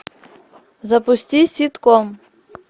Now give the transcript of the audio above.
запусти ситком